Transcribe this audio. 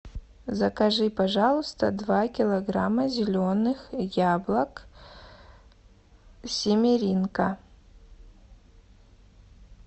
закажи пожалуйста два килограмма зеленых яблок семеринка